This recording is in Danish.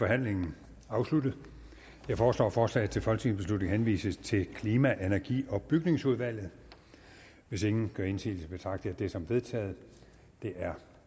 forhandlingen afsluttet jeg foreslår at forslaget til folketingsbeslutning henvises til klima energi og bygningsudvalget hvis ingen gør indsigelse betragter jeg det som vedtaget det er